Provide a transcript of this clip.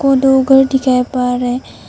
और दो घर दिखाई पड़ रहे--